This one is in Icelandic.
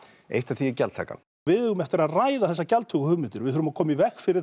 eitt af því er gjaldtakan við eigum eftir að ræða þessar gjaldtökuhugmyndir og við þurfum að koma í veg fyrir